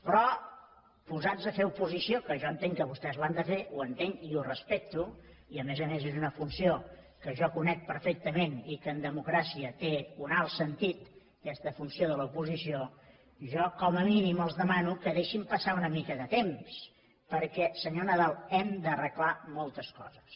però posats a fer oposició que jo entenc que vostès l’han de fer ho entenc i ho respecto i a més a més és una funció que jo conec perfectament i que en democràcia té un alt sentit aquesta funció de l’oposició jo com a mínim els demano que deixin passar una mica de temps perquè senyor nadal hem d’arreglar moltes coses